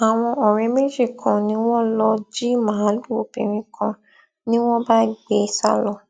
àwọn ọrẹ méjì kan ni wọn lọọ jí màálùú obìnrin kan ni wọn bá gbé e sá lọ